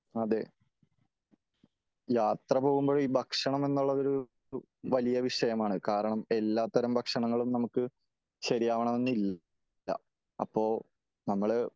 അതേ യാത്ര പോകുമ്പോൾ ഈ ഭക്ഷണം എന്നുള്ളത് ഒരു വലിയ വിഷയമാണ് . കാരണം എല്ലാത്തരം ഭക്ഷണങ്ങളും നമുക്ക് ശെരിയാവണമെന്നില്ല . അപ്പോ നമ്മള്